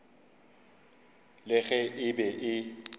le ge e be e